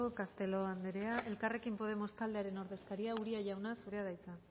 castelo andrea elkarrekin podemos taldearen ordezkaria uria jauna zurea da hitza